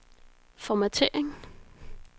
formattering